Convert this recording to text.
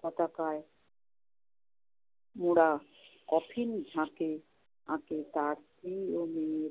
পতাকায় মুড়া কফিনে আছে তার EMA